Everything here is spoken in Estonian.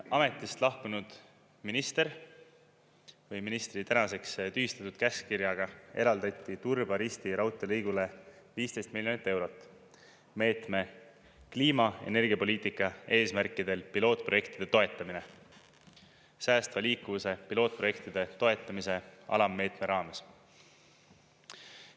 Ametist lahkunud ministri tänaseks tühistatud käskkirjaga eraldati Turba-Risti raudteelõigule 15 miljonit eurot meetme "Kliima- ja energiapoliitika eesmärkidel pilootprojektide toetamine" säästva liikuvuse pilootprojektide toetamise alammeetme raames.